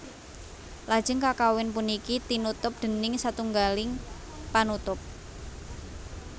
Lajeng kakawin puniki tinutup déning satunggaling panutup